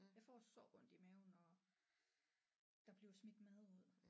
Jeg får så ondt i maven når der bliver smidt mad ud